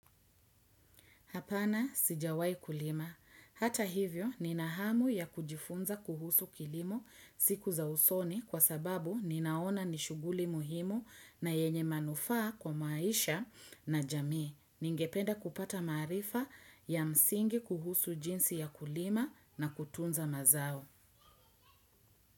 Hapana sijawai kulima. Hata hivyo nina hamu ya kujifunza kuhusu kilimo siku za usoni kwa sababu ni naona nishuguli muhimu na yenye manufaa kwa maisha na jamii. Ningependa kupata maarifa ya msingi kuhusu jinsi ya kulima na kutunza mazao.